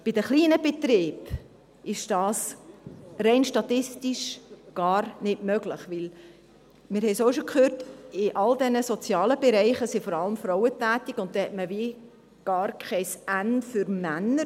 Bei den kleinen Betrieben ist dies rein statistisch gar nicht möglich, denn – wir haben es auch schon gehört – in all diesen sozialen Bereichen sind vor allem Frauen tätig, und dann hat man gar kein N für Männer: